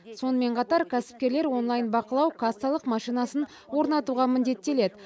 сонымен қатар кәсіпкерлер онлайн бақылау кассалық машинасын орнатуға міндеттеледі